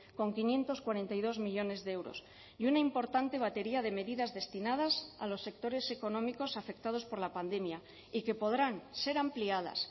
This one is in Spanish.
con quinientos cuarenta y dos millónes de euros y una importante batería de medidas destinadas a los sectores económicos afectados por la pandemia y que podrán ser ampliadas